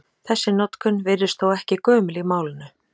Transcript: Þessi notkun virðist þó ekki gömul í málinu.